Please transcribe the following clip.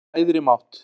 Trú á æðri mátt